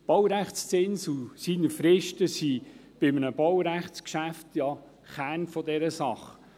Der Baurechtszins und seine Fristen sind bei einem Baurechtsvertrag ja der Kern der Sache.